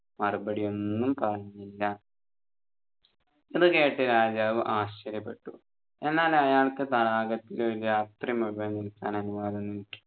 മറുപടിയൊന്നും പറഞ്ഞില്ല ഇതുകേട്ട് രാജാവ് ആശ്ചര്യപ്പെട്ടു എന്നാൽ അയാൾക്ക് തടാകത്തിൽ ഒരു രാത്രി മുഴുവൻ നിൽക്കാൻ അനുവാദം കിട്ടി